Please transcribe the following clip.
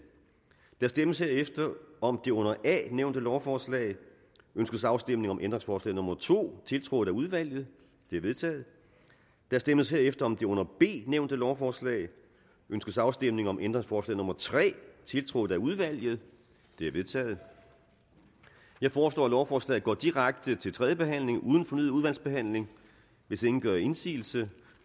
der stemmes herefter om det under a nævnte lovforslag ønskes afstemning om ændringsforslag nummer to tiltrådt af udvalget det er vedtaget der stemmes herefter om det under b nævnte lovforslag ønskes afstemning om ændringsforslag nummer tre tiltrådt af udvalget det er vedtaget jeg foreslår at lovforslaget går direkte til tredje behandling uden fornyet udvalgsbehandling hvis ingen gør indsigelse